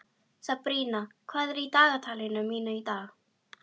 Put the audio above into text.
Sabrína, hvað er í dagatalinu mínu í dag?